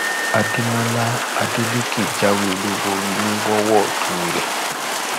àdèmólà adelèké jáwé olúborí ní wọwódù rè